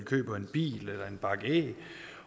køber en bil eller en bakke æg